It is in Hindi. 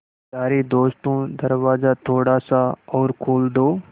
यारे दोस्तों दरवाज़ा थोड़ा सा और खोल दो